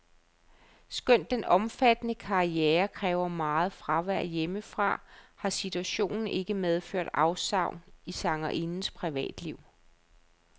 Skønt den omfattende karriere kræver meget fravær hjemmefra, har situationen ikke medført afsavn i sangerindens privatliv.